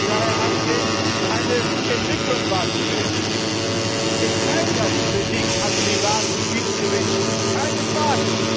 da herangehen, eine Entwicklung wahrzunehmen. Ich teile ja die Kritik an privaten Schiedsgerichten keine